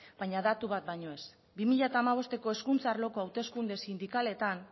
baina datu bat baino ez bi mila hamabosteko hezkuntza arloko hauteskunde sindikaletan